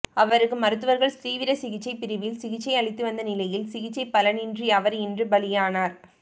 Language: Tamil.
அவருக்கு மருத்துவர்கள் தீவிர சிகிச்சை பிரிவில் சிகிச்சை அளித்து வந்த நிலையில் சிகிச்சை பலனின்றி அவர் இன்று பலியானார்